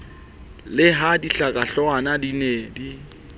le ha dihlakanahloohwana di ne